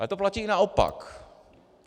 Ale to platí i naopak.